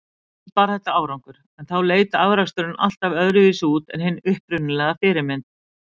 Stundum bar þetta árangur, en þá leit afraksturinn alltaf öðruvísi út en hin upprunalega fyrirmynd.